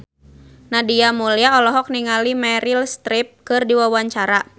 Nadia Mulya olohok ningali Meryl Streep keur diwawancara